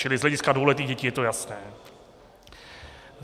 Čili z hlediska dvouletých dětí je to jasné.